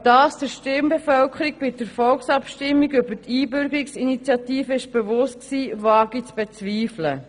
Ob das der Stimmbevölkerung bei der Volksabstimmung über die Einbürgerungsinitiative bewusst war, wage ich zu bezweifeln.